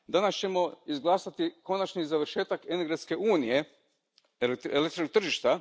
Danas ćemo izglasati konačni završetak energetske unije elektrotržišta.